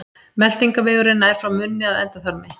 meltingarvegurinn nær frá munni að endaþarmi